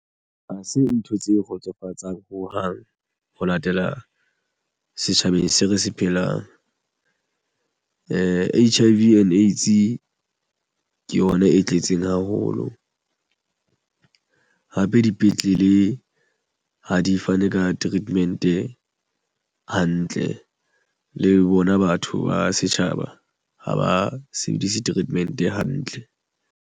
Ha se ntho tse kgotsofatsang ho hang ho latela setjhabeng se re se phelang H_I_V and AIDS ke yona e tletseng haholo hape dipetlele ha di fane ka treatment hantle le bona batho ba setjhaba ha ba sebedise treatment hantle.